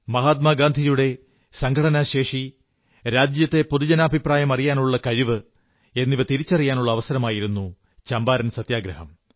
മഹാത്മാഗാന്ധിയുടെ സംഘടനാശേഷി രാജ്യത്തെ പൊതുജനാഭിപ്രായമറിയാനുള്ള കഴിവ് എന്നിവ തിരിച്ചറിയാനുള്ള അവസരമായിരുന്നു ചമ്പാരൻ സത്യഗ്രഹം